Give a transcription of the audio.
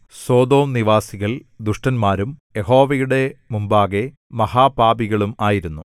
Sodom നിവാസികള്‍ ദുഷ്ടന്മാരും യഹോവയുടെ മുമ്പാകെ മഹാപാപികളും ആയിരുന്നു